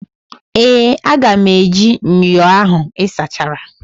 Ee, aga m eji ṅyọ ahụ ị sachara.